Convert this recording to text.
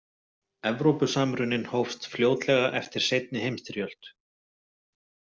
Evrópusamruninn hófst fljótlega eftir seinni heimsstyrjöld.